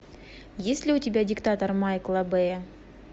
есть ли у тебя диктатор майкла бэя